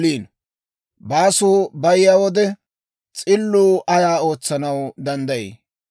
Baasuu bayiyaa wode, s'illuu ayaa ootsanaw danddayii?